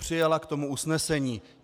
Přijala k tomu usnesení.